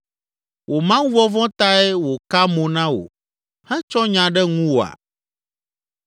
“Wò Mawuvɔvɔ̃ tae wòka mo na wò hetsɔ nya ɖe ŋuwòa?